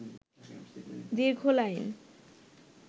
দীর্ঘ লাইন